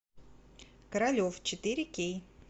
королев четыре кей